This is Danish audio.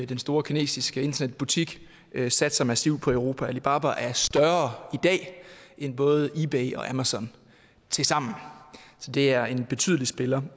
den store kinesiske internetbutik satser massivt på europa alibaba er større end både ebay og amazon tilsammen så det er en betydelig spiller